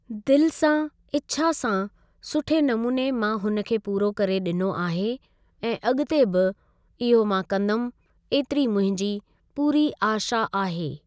दिल सां इच्छा सां सुठे नमूने मां हुन खे पूरो करे ॾिनो आहे ऐं अॻिते बि इहो मां कंदुमि एतिरी मुंहिंजी पूरी आशा आहे।